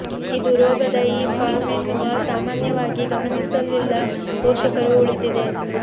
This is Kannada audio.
ಇದು ರೋಗದ ಈ ಫಾರ್ಮ್ ಎನ್ನುವ ಸಾಮಾನ್ಯವಾಗಿ ಗಮನಿಸಲಿಲ್ಲ ಪೋಷಕರು ಉಳಿದಿದೆ